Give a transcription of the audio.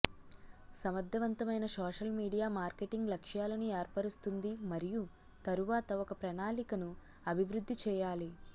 సమర్థవంతమైన social media marketing లక్ష్యాలను ఏర్పరుస్తుంది మరియు తరువాత ఒక ప్రణాళికను అభివృద్ధి చేయాలి